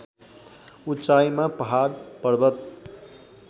उचाइमा पहाड पर्वत